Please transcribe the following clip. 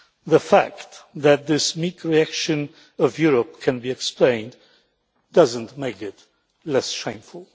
The fact that this meek reaction by Europe can be explained does not make it less shameful.